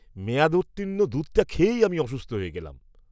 মেয়াদোত্তীর্ণ দুধটা খেয়েই আমি অসুস্থ হয়ে গেলাম।